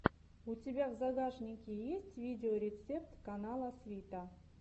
у тебя в загашнике есть видеорецепт канала свита